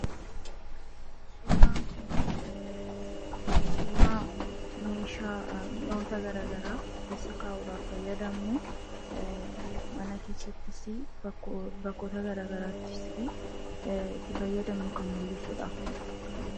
suuraan kun suuraa meeshaa mi'oota garaagaraa keessa kaa'udhaaf fayyadamnu mana keessattis bakkoota garaagaraattis itti fayyadamnu kan mul'isuudha.